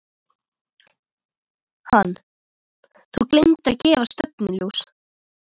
Hann: Þú gleymdir að gefa stefnuljós.